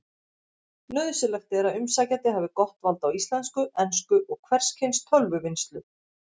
Nauðsynlegt er að umsækjandi hafi gott vald á íslensku, ensku og hvers kyns tölvuvinnslu.